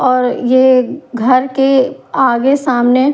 और ये घर के आगे सामने--